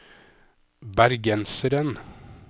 bergenseren